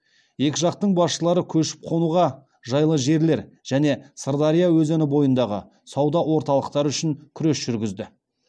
екі жақтың басшылары көшіп қонуға жайлы жерлер және сырдария өзені бойындағы сауда орталықтары үшін күрес жүргізді